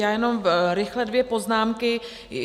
Já jenom rychle dvě poznámky.